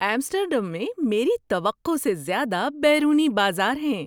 Amsterdam میں میری توقع سے زیادہ بیرونی بازار ہیں۔